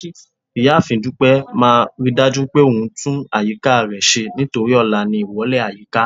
ìyáàfín dupẹ má ridaju pé òun tún àyíká re ṣe nítorí ọlá ní ìwọlè ayika